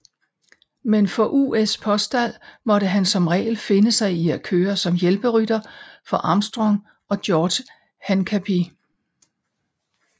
Men for US Postal måtte han som regel finde sig i at køre som hjælperytter for Armstrong og George Hincapie